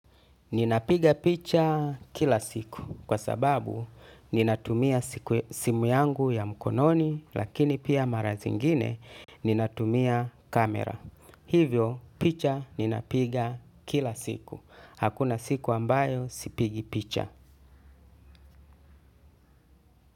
Ninapiga picha kila siku kwa sababu nitatumia simu yangu ya mkononi lakini pia mara zingine ninatumia kamera. Hivyo picha ninapiga kila siku. Hakuna siku ambayo sipigi picha.